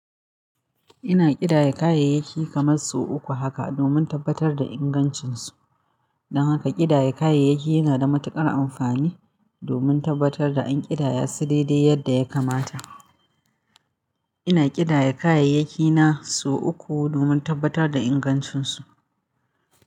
Ina ƙidaya kayayyaki kamar su uku haka domin tabbatar da ingancinsu. Don haka ƙidaya kayayyaki yana da matuƙar amfani domin tabbatar da an ƙidaya su daidai yadda ya kamata. Ina ƙidaya kayayyakina sau uku domin tabbatar da ingancinsu.